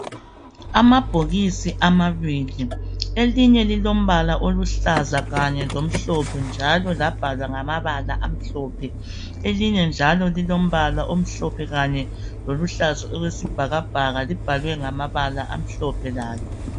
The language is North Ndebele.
Amabhokisi amabili, elinye lilombala oluhlaza kanye lomhlophe njalo labhalwa ngamabala amhlophe. Elinye njalo lilombala omhlophe kanye loluhlaza okwesibhakabhaka libhalwe ngamabala amhlophe lalo.